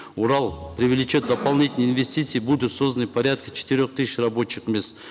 урал привлечет дополнительные инвестиции будут созданы порядка четырех тысяч рабочих мест